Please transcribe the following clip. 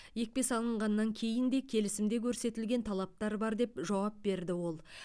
екпе салынғаннан кейін де келісімде көрсетілген талаптар бар деп жауап берді ол